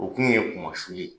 O tun ye kumasuli ye